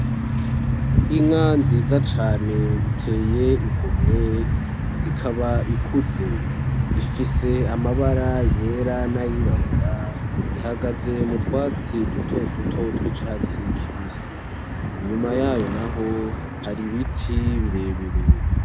Inka nziza cane, iteye igomwe ,ikaba ikuze ifise amabara yera n'ayirabura ihagaze m'urwatsi duto duto tw'icatsi kibisi inyuma yayo naho hari ibiti birebire.